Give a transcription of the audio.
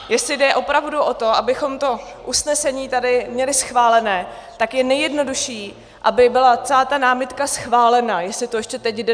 Jestli jde opravdu o to, abychom to usnesení tady měli schválené, tak je nejjednodušší, aby byla celá ta námitka schválena, jestli to ještě teď jde.